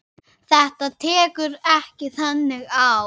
Þetta tekur ekki þannig á.